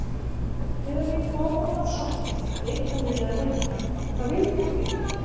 Þegar ég kom út af Sogni leitaði ég að vinnu en það vildi mig enginn.